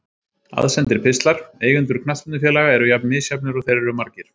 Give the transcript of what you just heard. Aðsendir pistlar Eigendur knattspyrnufélaga eru jafn misjafnir og þeir eru margir.